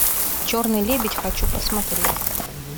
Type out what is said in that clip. черный лебедь хочу посмотреть